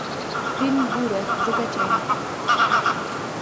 фильм буря закачай